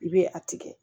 I bɛ a tigɛ